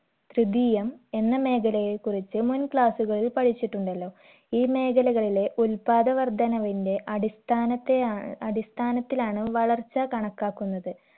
ത്രിതീയം എന്ന മേഖലകളെ കുറിച്ച് മുൻ class കളിൽ പഠിച്ചിട്ടുണ്ടല്ലോ ഈ മേഖലകളിലെ ഉൽപ്പാദ വർധനവിന്റെ അടിസ്ഥാനത്തെയാ അടിസ്ഥാനത്തിലാണ് വളർച്ചാ കണക്കാക്കുന്നത്